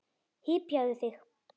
Hypjaðu þig.